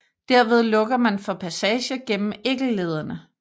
Derved lukker man for passage gennem æggelederne